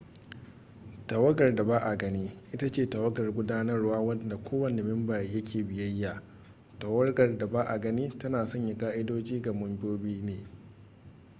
tawagar da ba a gani ita ce tawagar gudanarwa wadda kowanne memba ya ke biyayya tawagar da ba a gani tana sanya ƙa'idodi ga kowanne memba